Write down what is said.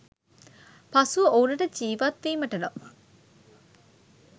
පසුව ඔවුනට ජීවත් වීමට නම්